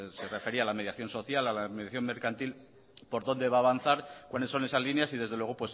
se refería la mediación social a la mediación mercantil por dónde va a avanzar cuáles son esas líneas y desde luego